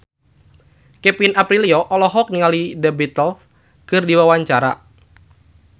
Kevin Aprilio olohok ningali The Beatles keur diwawancara